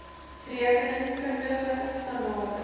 rekening kundige standaarde